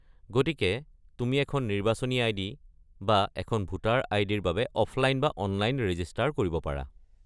গতিকে তুমি এখন নিৰ্বাচনী আই.ডি. বা এখন ভোটাৰ আই.ডি.-ৰ বাবে অফলাইন বা অনলাইন ৰেজিষ্টাৰ কৰিব পাৰা।